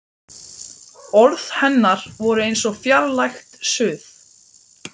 Orð hennar voru eins og fjarlægt suð.